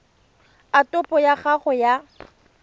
a topo ya gago ya